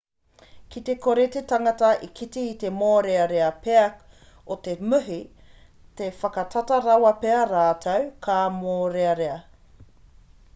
ki te kore te tangata e kite i te mōrearea pea o te muhi ka whakatata rawa pea rātou ka mōrearea